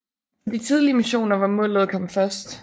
For de tidlige missioner var målet at komme først